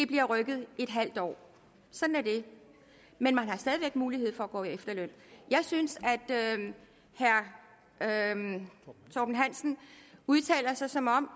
bliver rykket halvt år sådan er det men man har stadig væk mulighed for at gå på efterløn jeg synes herre torben hansen udtaler sig som om